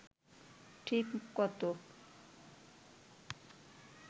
ঠিক কত